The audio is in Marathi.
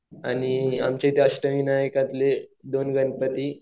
आमच्या इथे अष्ठविनाय दोन गणपती